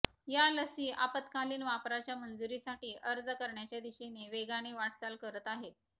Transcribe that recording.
या लसी आपात्कालीन वापराच्या मंजुरीसाठी अर्ज करण्याच्या दिशेने वेगाने वाटचाल करत आहेत